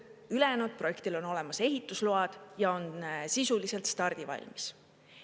Ülejäänud projektil on olemas ehitusload ja on sisuliselt stardivalmis.